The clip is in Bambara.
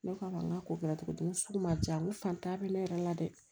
Ne k'a ma n k'a ko kɛra cogo cogo n ko sugu ma ja n ko fantan bɛ ne yɛrɛ la dɛ